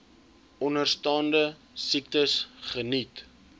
onderstaande siektes geniet